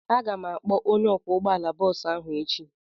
Aga m akpọ onye ọkwọ ụgbọala bọọsụ ahụ echi.